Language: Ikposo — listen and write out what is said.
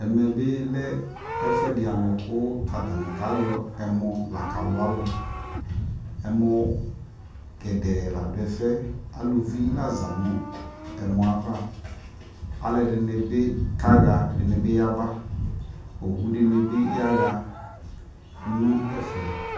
ɛmɛ bi lɛ ɛƒʋɛdi alʋ kʋ atani kayɔ ɛmɔ la kalʋ alʋ, ɛmɔ gɛdɛɛ lakʋ ɔdʋ ɛƒʋɛ lakʋ alʋvi la zanʋ ɛmɔɛ aɣa, alʋɛdini bi kaha kʋ ɛdibi yaba ,ɔwʋ dinibi yaha nʋ ɛƒɛ